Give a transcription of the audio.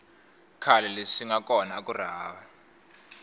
khale leswi swinga kona akuri hava